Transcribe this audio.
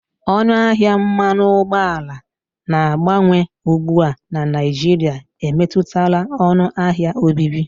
Ọnụ ahịa mmanụ ụgbọala na-agbanwe ugbu a na Naịjirịa emetụtala ọnụ ahịa obibi.